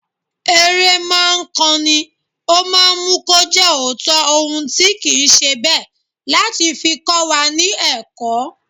Eré ma ńkan ni, ó máa ńmú kó jẹ́ òótọ́ ohun tí kì ńṣe bẹ́ẹ̀ láti fi kówa ní ẹ̀kọ́.